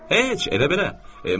Heç elə belə.